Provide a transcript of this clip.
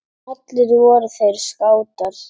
Allir voru þeir skátar.